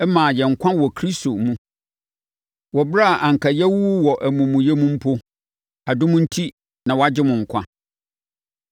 maa yɛn nkwa wɔ Kristo mu, wɔ ɛberɛ a anka yɛawuwu wɔ amumuyɛ mu mpo; adom enti na wɔagye mo nkwa.